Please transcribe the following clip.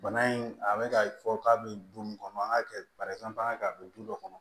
Bana in a bɛ ka fɔ k'a bɛ du mun kɔnɔ an ka kɛ a bɛ du dɔ kɔnɔ